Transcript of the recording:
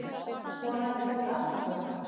Konan tók andköf.